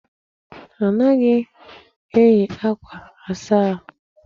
Anaghị eyi akwa asa ahụ.